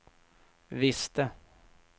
visste